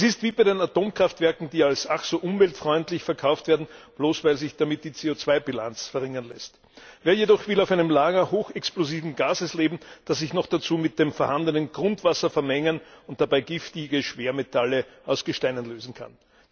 Es ist wie bei den Atomkraftwerken, die als ach so umweltfreundlich verkauft werden, bloß weil sich damit die CO 2 Bilanz verringern lässt. Wer jedoch will auf einem Lager hochexplosiven Gases leben, das sich noch dazu mit dem vorhandenen Grundwasser vermengen und dabei giftige Schwermetalle aus Gesteinen lösen kann?